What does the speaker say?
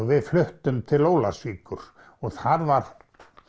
við fluttum til Ólafsvíkur og þar var